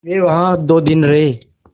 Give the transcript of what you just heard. वे वहाँ दो दिन रहे